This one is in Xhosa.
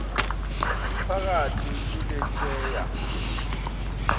iphakathi kule tyeya